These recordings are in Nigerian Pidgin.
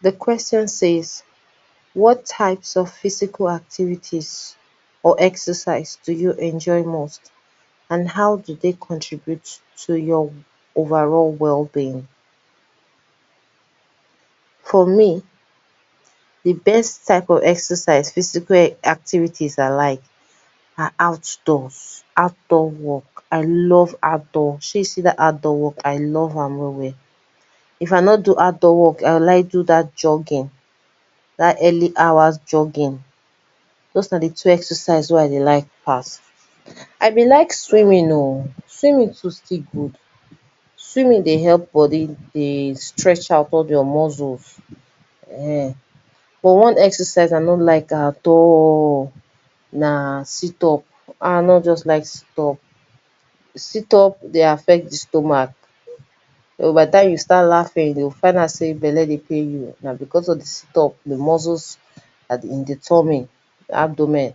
Di question says, what types of physical activities or exercise do you enjoy most, and how do dey contribute to your overall wellbeing? For me di best type of exercise physical activities I like, are outdoor, I love out door walk shey you see dat outdoor walk I love am well well, if I nor do outdoor walk I go like do dat jogging, dat early hours jogging, doz na di two exercise wen I dey like pass. I been like swimming oh, swimming too still good, swimming dey help body dey stretch out all your muscles ehen, but one exercise I no like at all, na sit up I nor just like sit up, sit up dey affect di stomach, by di time you start laughing, you go find out sey belle dey pain you, na because of di dit up, di muscles and di tommy, abdomen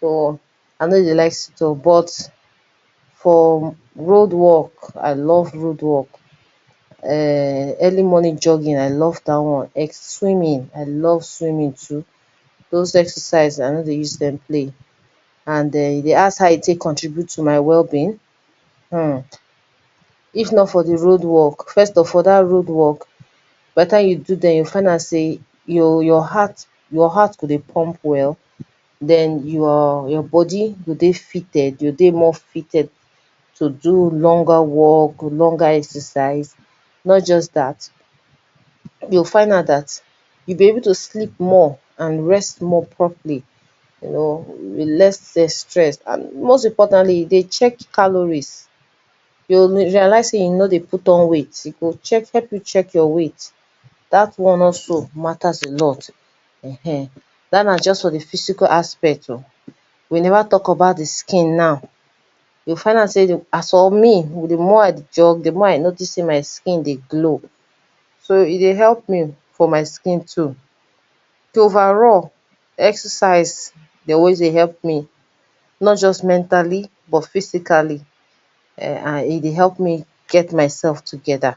so I nor dey like sit up, but for raod walk, I love road walk [urn] early morning jogging, I love dat one, swimming, I love swimming too doz exercise I nor dey use dem play and e dey ask how e take contribute to my wellbeing him. If not for di road walk, first of all dat road walk, by di time you do dem you go find out sey your your heart, your heart go dey pump well, den you’re your body go dey fitted, dey more fitted, to do longer walk, longer exercise, not just dat, you go find out dat you will be able to sleep more, and rest more properly you know with less stress, and most importantly e dey check calories, you go realize sey you nor dey out on weight, e go help you check your weight, dat one also matters a lot, dat na just for di physical aspect oh, we never talk about di skin now, you go find out sey as for me, di more I jug, do more I notice sey my skin dey glow, so e dey help me for my skin too, overall exercise dem wey dey help me, not just mentally but physically, I dey help me get myself together.